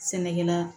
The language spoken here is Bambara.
Sɛnɛkɛla